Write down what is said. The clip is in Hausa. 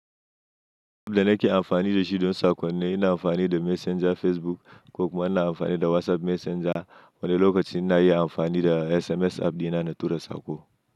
Da nake amfani da shi dan sako ne, ina amfani da Messenger Facebook ko kuma ina amfani da WhatsApp Messenger, wanda lokacin na yi amfani da SMS app dina na tura saƙo.